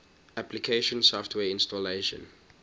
application software installation